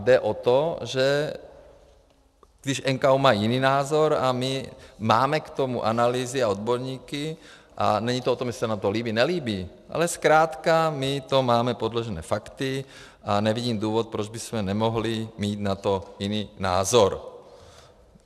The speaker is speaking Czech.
Jde o to, že když NKÚ má jiný názor a my máme k tomu analýzy a odborníky, a není to o tom, jestli se nám to líbí, nelíbí, ale zkrátka my to máme podložené fakty a nevidím důvod, proč bychom nemohli mít na to jiný názor.